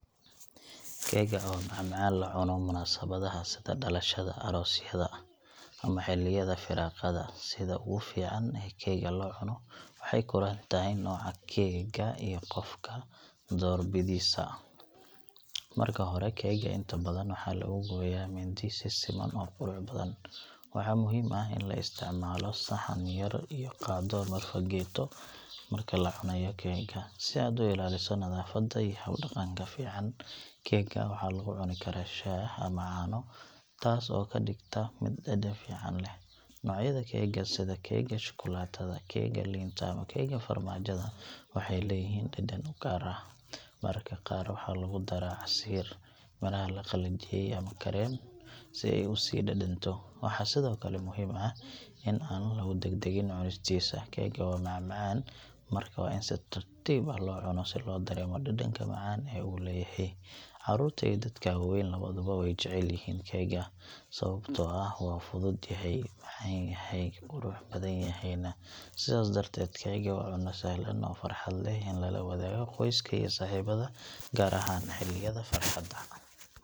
Keegga waa macmacaan la cuno munaasabadaha sida dhalashada, aroosyada ama xilliyada firaaqada. Sida ugu fiican ee keegga loo cuno waxay ku xiran tahay nooca keega iyo qofka doorbidiisa. Marka hore, keegga inta badan waxaa lagu gooyaa mindi si siman oo qurux badan. Waxaa muhiim ah in la isticmaalo saxan yar iyo qaaddo ama fargeeto marka la cunayo keegga, si aad u ilaaliso nadaafadda iyo hab-dhaqanka fiican. Keegga waxaa lagu cuni karaa shaah ama caano, taas oo ka dhigta mid dhadhan fiican leh. Noocyada keega sida keega shukulaatada, keega liinta ama keega farmaajada waxay leeyihiin dhadhan u gaar ah. Mararka qaar waxaa lagu daraa casiir, miraha la qalajiyey ama kareem si ay u sii dhadhanto. Waxaa sidoo kale muhiim ah in aan lagu degdegin cunistiisa. Keegga waa macmacaan, marka waa in si tartiib ah loo cuno si loo dareemo dhadhanka macaan ee uu leeyahay. Carruurta iyo dadka waaweyn labaduba way jecel yihiin keegga, sababtoo ah waa fudud yahay, macaan yahay, qurux badan yahayna. Sidaas darteed, keegga waa cunno sahlan oo farxad leh in lala wadaago qoyska iyo saaxiibada, gaar ahaan xilliyada farxadda.